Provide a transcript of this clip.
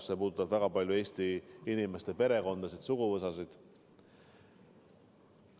See puudutab väga paljude Eesti inimeste perekondasid, suguvõsasid.